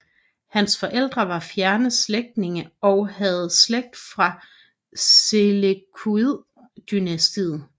Hans forældre var fjerne slægtninge og havde slægt fra Seleukid dynastiet